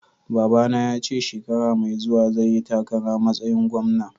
Babba na ya ce shekara Mai zuwa zai yi takara masayin gwamna.